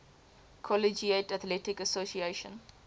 collegiate athletic association